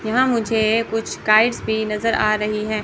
यहां मुझे कुछ काइट्स भी नजर आ रही है।